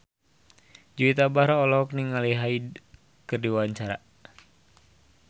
Juwita Bahar olohok ningali Hyde keur diwawancara